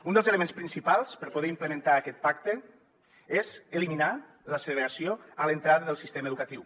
un dels elements principals per poder implementar aquest pacte és eliminar la segregació a l’entrada del sistema educatiu